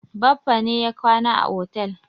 Baffa ne ya kwana a otel.